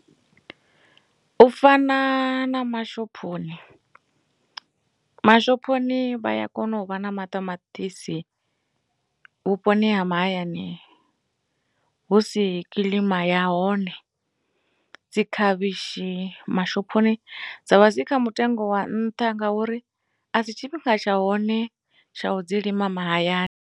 U fana na mashophoni mashophoni vha ya kona u vha na maṱamaṱisi vhuponi ha mahayani hu si kilima ya hone dzi khavhishi mashophoni dza vha dzi kha mutengo wa nṱha ngauri a si tshifhinga tsha hone tsha u dzi lima mahayani.